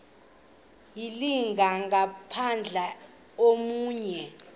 ayilinga gaahanga imenywe